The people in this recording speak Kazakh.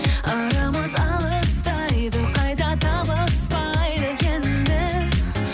арамыз алыстайды қайта табыспайды енді